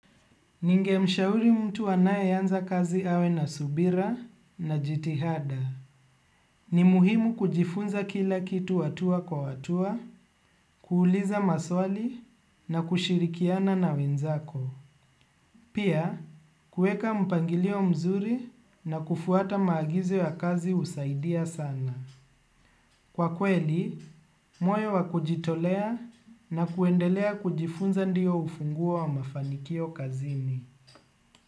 Ninge mshauri mtu anaye anza kazi awe na subira na jitihada. Ni muhimu kujifunza kila kitu hatua kwa hatua, kuuliza maswali na kushirikiana na wenzako. Pia, kueka mpangilio mzuri na kufuata maagizo ya kazi husaidia sana. Kwa kweli, moyo wa kujitolea na kuendelea kujifunza ndiyo ufunguo wa mafanikio kazini.